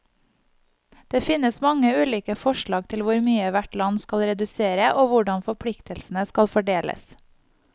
Det finnes mange ulike forslag til hvor mye hvert land skal redusere, og hvordan forpliktelsene skal fordeles.